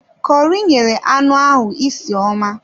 Kọri nyere anụ ahụ isi ọma